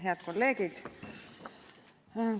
Head kolleegid!